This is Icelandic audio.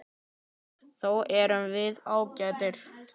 Þó erum við ágætar.